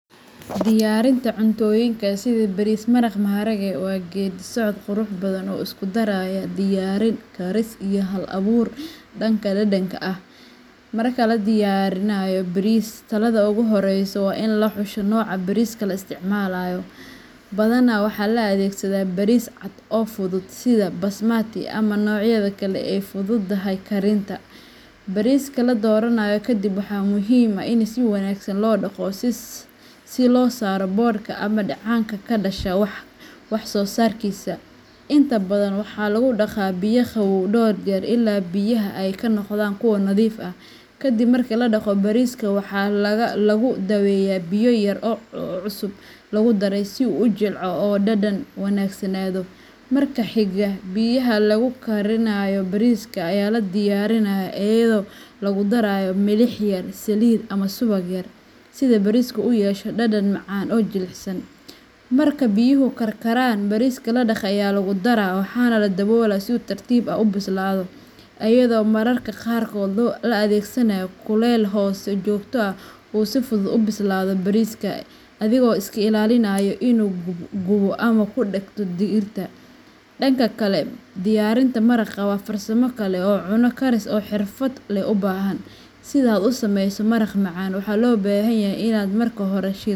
Diyaarinta cuntooyinka sida bariis maraq maharage waa geeddi socod qurux badan oo isku daraya diyaarin, karis, iyo hal abuur dhanka dhadhanka ah. Marka la diyaarinayo bariis, tallaabada ugu horreysa waa in la xusho nooca bariiska la isticmaalayo; badanaa waxaa la adeegsadaa bariis cad oo fudud sida basmati ama noocyada kale ee ay u fududahay karinta. Bariiska la dooranayo kadib, waxaa muhiim ah in si wanaagsan loo dhaqdo si loo saaro boodhka iyo dheecaanka ka dhasha wax soo saarkiisa. Inta badan, waxaa lagu dhaqaa biyo qabow dhowr jeer ilaa biyaha ay ka noqdaan kuwo nadiif ah. Kadib marka la dhaqo, bariiska waxaa lagu daaweeyaa biyo yar oo cusbo lagu daray si uu u jilco oo u dhadhan wanaagsanaado. Marka xiga, biyaha lagu karinayo bariiska ayaa la diyaariyaa iyadoo lagu darayo milix yar, saliid ama subag yar, si bariiska u yeesho dhadhan macaan oo jilicsan. Marka biyuhu karkaraan, bariiska la dhaqay ayaa lagu daraa waxaana la daboolaa si uu si tartiib ah u bislaado, iyadoo mararka qaarkood la adeegsanayo kulayl hoose oo joogto ah si uu u bislaado bariiska adigoo iska ilaalinaya inuu gubo ama ku dhagto digirta. Dhanka kale, diyaarinta maraqa waa farsamo kale oo cunto karis oo xirfad leh u baahan. Si aad u samayso maraq macaan, waxaa loo baahan yahay in aad marka hore.